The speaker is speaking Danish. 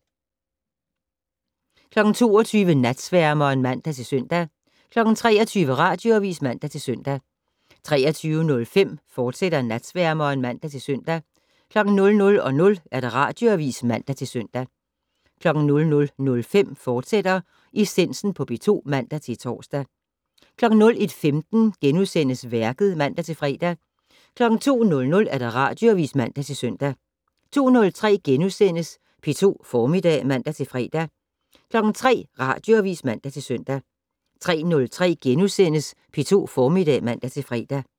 22:00: Natsværmeren (man-søn) 23:00: Radioavis (man-søn) 23:05: Natsværmeren, fortsat (man-søn) 00:00: Radioavis (man-søn) 00:05: Essensen på P2 *(man-tor) 01:15: Værket *(man-fre) 02:00: Radioavis (man-søn) 02:03: P2 Formiddag *(man-fre) 03:00: Radioavis (man-søn) 03:03: P2 Formiddag *(man-fre)